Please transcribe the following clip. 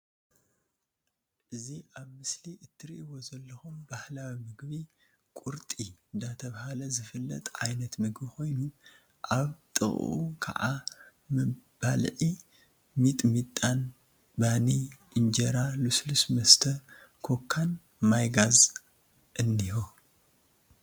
እዚ ኣብ ምስሊ ትሪእዎ ዘለኩም ባህላዊ ምግቢ ቁርጢ ዳ ተብሃለ ዝፍለጥ ዓይነት ምግቢ ኮይኑ ኣብ ጥቀኡ ክዓ መባልዒ ሚጥሚጣን ባኒ እንጀራ ልስሉስ መስተ ኮካ ን ማይ ጋዝ እኒሀ።